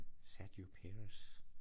Sergio Pérez